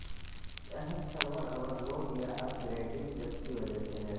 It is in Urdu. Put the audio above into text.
اس اہم سرور اوورلوڈ یا اپ گریڈنگ جب کی وجہ سے ہے